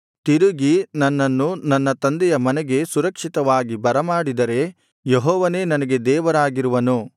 ತಿರುಗಿ ನನ್ನನ್ನು ನನ್ನ ತಂದೆಯ ಮನೆಗೆ ಸುರಕ್ಷಿತವಾಗಿ ಬರಮಾಡಿದರೆ ಯೆಹೋವನೇ ನನಗೆ ದೇವರಾಗಿರುವನು